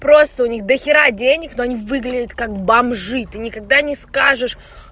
просто у них дохера денег но они выглядят как бомжи ты никогда не скажешь